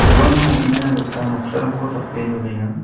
uano uina gita noksarangko tape donenga.